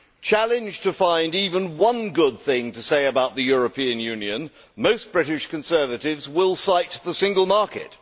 Challenged to find even one good thing to say about the European Union, most British Conservatives will cite the single market.